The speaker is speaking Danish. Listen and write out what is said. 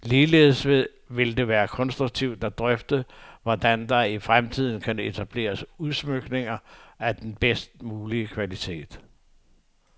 Ligeledes vil det være konstruktivt at drøfte, hvordan der i fremtiden kan etableres udsmykninger af den bedst mulige kvalitet.